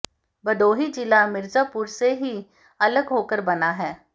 भदोही जिला मिर्जापुर से ही अलग होकर बना है